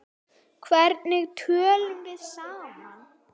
Hvernig tölum við saman?